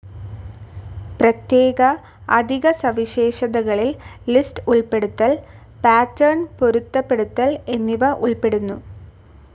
പ്രത്യേക അധിക സവിശേഷതകളിൽ ലിസ്റ്റ്‌ ഉൾപ്പെടുത്തൽ, പാറ്റർൻ പൊരുത്തപ്പെടുത്തൽ എന്നിവ ഉൾപ്പെടുന്നു.